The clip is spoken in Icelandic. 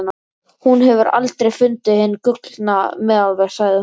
Hún hefur aldrei fundið hinn gullna meðalveg, sagði hún.